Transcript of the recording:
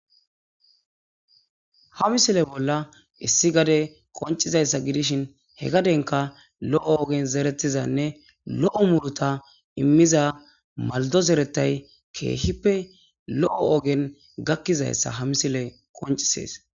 Ha misile bolla issi gade qonccizayssa gidishin he gadenkka lo7o ogen zerettizanne lo7o muruuta immiza malddo zerettay keehippe lo7o ogen gakkizayssa ha misiley qonccisees.